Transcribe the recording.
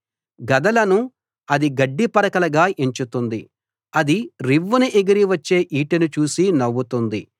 గదలను అది గడ్డిపరకలుగా ఎంచుతుంది అది రివ్వున ఎగిరి వచ్చే ఈటెను చూసి నవ్వుతుంది